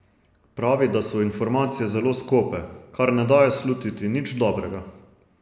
Pravi, da so informacije zelo skope, kar ne daje slutiti nič dobrega.